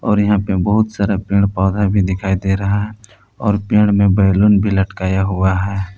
और यहां पे बहुत सारा पेड़ पौधा भी दिखाई दे रहा है और पेड़ में बैलून भी लटकाया हुआ है।